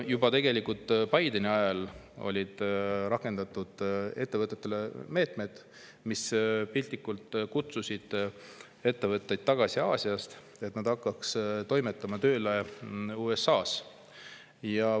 Juba Bideni ajal rakendati ettevõtetele meetmeid, mis piltlikult öeldes kutsusid ettevõtteid Aasiast tagasi, et nad hakkaksid toimetama ja tööle USA-s.